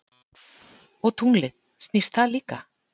Og tunglið, snýst það líka?